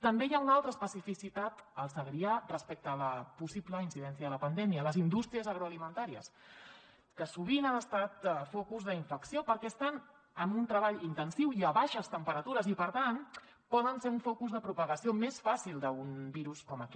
també hi ha una altra especificitat al segrià respecte a la possible incidència de la pandèmia les indústries agroalimentàries que sovint han estat focus d’infecció perquè estan en un treball intensiu i a baixes temperatures i per tant poden ser un focus de propagació més fàcil d’un virus com aquest